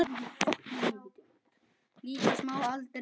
Líka smáa letrið.